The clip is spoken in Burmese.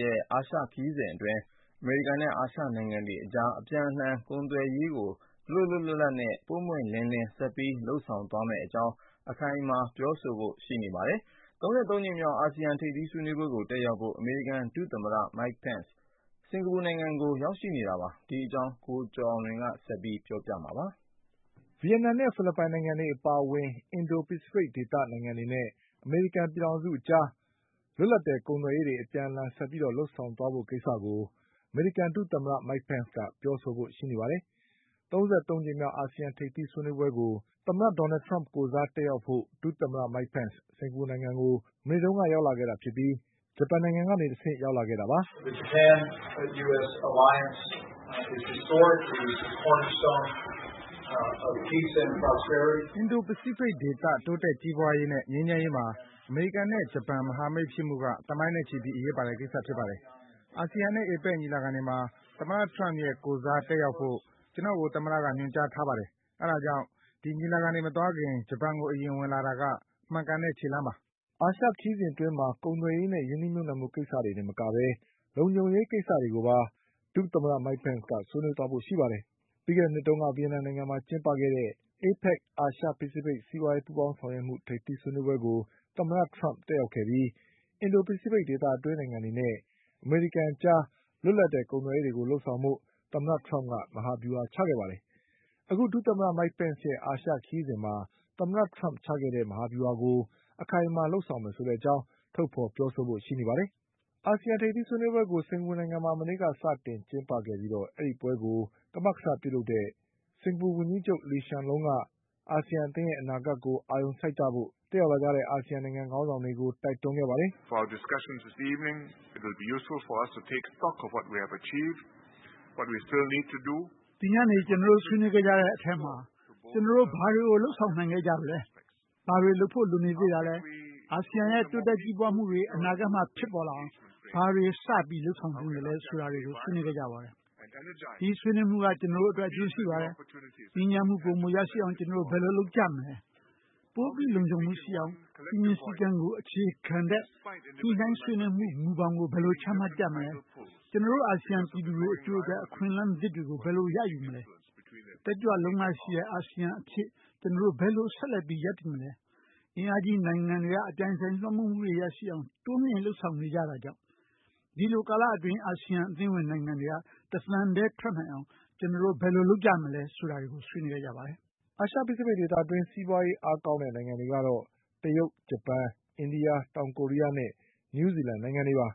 ရဲ့ အာရှခရီးစဉ်အတွင်း အမေရိကန်နဲ့အာရှနိုင်ငံအတွေအကြား အပြန်အလှန်ကုန် သွယ်ရေးတွေကို လွတ်လွတ်လပ်လပ်နဲ့ ပွင့်ပွင့်လင်းလင်းဆက်ပြီးလုပ်ဆောင်သွားမယ့်အကြောင်း အခိုင်အမာပြောဆိုဖို့ ရှိပါတယ်။ ၃၃ကြိမ်မြောက်အာဆီယံထိပ်သီးဆွေးနွေးပွဲကိုတက်ရောက်ဖို့ အမေရိကန်ဒုသမ္မတ Mike Pence စင်္ကာပူနိုင်ငံ ကိုရောက်ရှိနေတာပါ။ ဒီအကြောင်း ကိုကျော်အောင်လွင်က ဆက်ပြီးပြောပြပါလိမ့်မယ်။ ဗီယက်နမ်နဲ့ဖိလစ်ပိုင်နိုင်ငံတွေအပါအဝင် အင်ဒိုဖိစိဖိတ်ဒေသနိုင်ငံတွေနဲ့အမေရိကန်ပြည်ထောင်စုအကြား လွတ်လပ် တဲ့ကုန်သွယ်ရေးတွေအပြန်အလှန် ဆက်ပြီးလုပ်ဆောင်သွားဖို့ကိစ္စကို အမေရိကန်ဒုသမ္မတ Mike Penceကပြောဆိုဖို့ရှိ နေပါတယ်။ ၃၃ကြိမ်မြောက်အာဆီယံထိပ်သီးဆွေးနွေးပွဲကို သမ္မတဒေါ်နလ်ထရမ့်ကိုယ်စား တက်ရောက်ဖို့ ဒုသမ္မတ Mike Pence စင်္ကာပူနိုင်ငံကို မနေ့ကရောက်ရှိခဲ့တာဖြစ်ပြီး ဂျပန်နိုင်ငံကနေတဆင့် ရောက်လာတာပါ။ "အင်ဒိုဖိစိဖိတ်ဒေသတိုးတက်ကြီးပွါးရေးနဲ့ငြိမ်းချမ်းရေးမှာ အမေရိကန်နဲ့ဂျပန်မဟာမိတ်ဖြစ်မှုက သမိုင်းနဲ့ချီပြီးအရေးပါတဲ့ ကိစ္စဖြစ်ပါတယ်။ ASEANနဲ့ APECညီလာခံတွေမှာသမ္မတထရမ့်ရဲ့ကိုယ်စားတက်ရောက်ဖို့ ကျနော့်ကို သမ္မက ညွှန်ကြား ထားပါတယ်။ အဲဒါကြောင့် ဒီညီလာခံတွေမသွားခင် ဂျပန်ကိုအရင်ဝင်တာက မှန်ကန်တဲ့ခြေလှမ်းပါ" အာရှခရီးစဉ်အတွင်းမှာ ကုန်သွယ်ရေးနဲ့ရင်းနှီးမြုပ်နှံမှုကိစ္စတွေတင်မကပဲ လုံခြုံရေးကိစ္စတွေကိုပါ ဒုသမ္မတ Mike Pence ကဆွေးနွေးသွားဖို့ရှိပါတယ်။ ပြီးခဲ့တဲ့နှစ်တုန်းက ဗီယက်နမ်နိုင်ငံမှာကျင်းပခဲ့တဲ့ APEC အာရှ ဖိစိဖိတ်စီးပွါးရေး ပူးပေါင်း ဆောင်ရွက်မှုထိပ်သီးဆွေးနွေးပွဲကို သမ္မထရမ့်တက်ရောက်ခဲ့ပြီး အင်ဒိုဖိစိဖိတ်ဒေသတွင်းနိုင်ငံတွေနဲ့ အမေရိကန်အကြား လွတ်လပ်တဲ့ကုန်သွယ်ရေးတွေလုပ်ဖို့ သမ္မတထရမ့်က မဟာဗျူဟာချခဲ့ပါတယ်။ အခုဒုသမ္မတ Mike Penceရဲ့ အာရှခရီး စဉ်မှာ သမ္မတထရမ့်ချခဲ့တဲ့ မဟာဗျူဟာကို အခိုင်အမာလုပ်ဆောင်မယ်ဆိုတဲ့အကြောင်း ထုတ်ဖေါ်ပြောဆိုဖို့ရှိပါတယ်။ အာဆီယံထိပ်သီးဆွေးနွေးပွဲကို စင်္ကာပူနိုင်ငံမှာမနေ့ကစတင်ကျင်းပခဲ့ပြီး ဒီပွဲကို ကမကထလုပ်တဲ့ စင်္ကာပူဝန်ကြီးချုပ်လီရှန် လုံးက အာဆီယံအသင်းရဲ့အနာဂတ်ကို အာရုံစိုက်ကြဖို့ တက်ရောက်လာတဲ့အာဆီယံနိုင်ငံခေါင်းဆောင်တွေကို တိုက်တွန်း ခဲ့ပါတယ်။ "ဒီညနေကျနော်တို့ဆွေးနွေးခဲ့ကြတဲ့အထဲမှာ ကျနော်တို့ဘာတွေကိုလုပ်ဆောင်နိုင်ခဲ့ကြပြီလဲ၊ ဘာတွေလုပ်ဖို့လိုနေသေး တာလဲ၊ အာစီယံရဲ့တိုးတက်ကြီးပွါးမှုတွေအနာဂတ်မှာဖြစ်ပေါ်လာအောင်ဘာတွေစပြီးလုပ်ဆောင်သင့်သလဲဆိုတာတွေ ကိုဆွေးနွေးခဲ့ကြပါတယ်။ ဒီဆွေးနွေးမှုက ကျနော်တို့အတွက်အကျိုးရှိပါတယ်။ ငြိမ်းချမ်းမှုပိုရအောင် ကျနော်တို့ဘယ်လို လုပ်ကြမလဲ။ ပိုပြီလုံခြုံမှုရှိအောင်၊ စည်းမျဉ်းစည်းကမ်းကိုအခြေခံတဲ့ ညှိနှိုင်းဆွေးမှုမူဘောင်ကိုဘယ်လိုချမှတ်ကြမလဲ။ ကျနော်တို့ အာဆီယံပြည်သူတွေအကျိုးအတွက် အခွင့်အလမ်းအသစ်တွေကို ဘယ်လိုရယူမလဲ၊ တက်ကြွလုံလရှိတဲ့ အာဆီယံအဖြစ်ကျနော်တို့ဘယ်လိုဆက်ပြီးရပ်တည်မလဲ။ အင်အားကြီးနိုင်ငံတွေက အပြိုင်အဆိုင်လွှမ်းမိုးမှုတွေရှိအောင် တိုးမြင့်ပြီးလုပ်နေကြတာကြောင့် ဒီလိုကာလအတွင်းအာစီယံအသင်းဝင်နိုင်ငံတွေက တသံထဲထွက်နိုင်အောင် ကျနော် တို့ဘယ်လိုလုပ်ကြမလဲဆိုတာတွေကျနော်တို့ဆွေးနွေးခဲ့ပါတယ်။" အာရှဖိစိဖိတ်ဒေသတွင်း စီးပွါးရေးအားကောင်းတဲ့နိုင်ငံတွေကတော့ တရုတ်၊ ဂျပန်၊ အိန္ဒိယ၊ တောင်ကိုရီးယားနဲ့ နယူးဇီ လန်နိုင်ငံတွေပါ